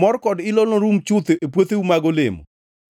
Mor kod ilo norum chuth e puotheu mag olemo